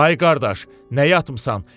Ay qardaş, nə yatmışan?